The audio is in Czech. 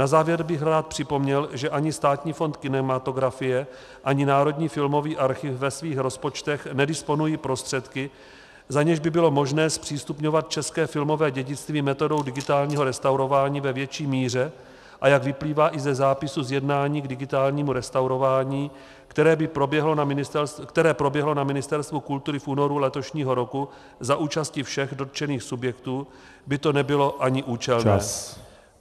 Na závěr bych rád připomněl, že ani Státní fond kinematografie, ani Národní filmový archiv ve svých rozpočtech nedisponují prostředky, za něž by bylo možné zpřístupňovat české filmové dědictví metodou digitálního restaurování ve větší míře, a jak vyplývá i ze zápisu z jednání k digitálnímu restaurování, které proběhlo na Ministerstvu kultury v únoru letošního roku za účasti všech dotčených subjektů, by to nebylo ani účelné.